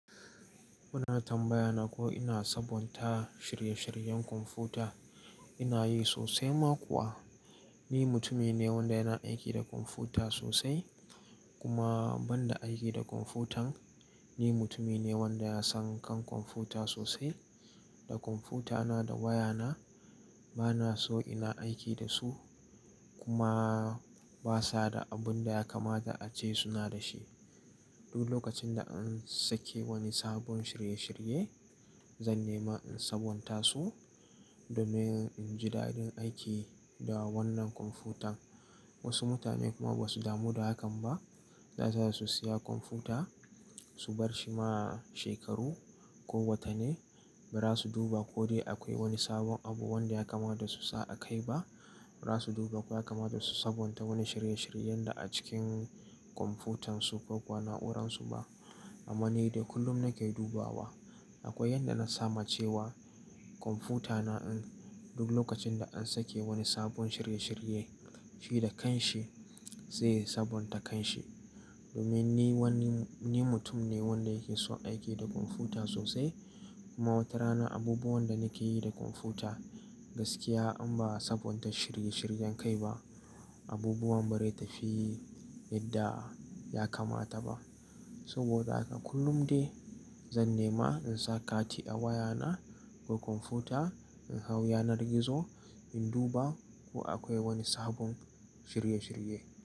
Muna tambaya nako ina sabonta shirye-shiryen kwamfuta, ina yi sosai ma kuwa. Ni mutumi ne wanda yana aiki da kwamfuta sosai kuma banda aiki da kwamfutan, ni mutumi ne wanda ya san kan kwamfuta sosai. Da kwamfutana da wayana bana so ina aiki da su kuma basa da abin da ya kamata ace suna da shi. Duk lokacin da an sake wani sabon shirye- shirye, zan nema in sabonta su domin in ji da'din aiki da wannan kwamfutan. Wasu mutane kuma ba su damu da hakan ba. Da su iya su siya kwamfuta, su bar shi ma shekaru ko watanni ba ra su duba ko dai akwai wani sabon abu wanda ya kamata su sa a kai ba, ba za su duba ko ya kamata su sabonta wani shirye-shiryen da a cikin kwamfutansu ko kuwa na'uransu ba. Amma ni dai kullum nake dubawa. Akwai yadda na sama cewa kwamfutana in duk lokacin da an sake wani sabon shirye-shirye, shi da kanshi zai sabonta kanshi domin ni wani, ni mutum ne wanda yake so aiki da kwamfuta sosai. Kuma wata rana abubuwan da nake yi da kwamfuta gaskiya an ba sabonta shirye-shiryen kai ba, abubuwan ba rai tafi yadda ya kamata ba. Saboda haka kullum dai zan nema in sa kati a wayana ko kwamfuta, in hau yanar gizo, in duba ko akwai wani sabon shirye-shirye.